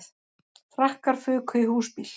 Frakkar fuku í húsbíl